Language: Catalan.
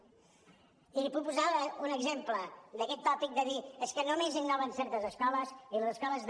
i n’hi puc posar un exemple d’aquest tòpic de dir és que només innoven certes escoles i les escoles de